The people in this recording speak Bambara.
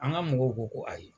An ka mɔgɔw ko ko ayi